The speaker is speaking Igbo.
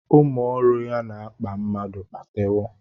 Ụmụ ọrụ ya na-akpa mmadụ kpatewọ